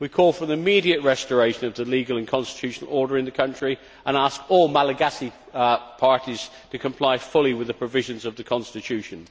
We call for the immediate restoration of the legal and constitutional order in the country and ask all Malagasy parties to comply fully with the provisions of the constitution.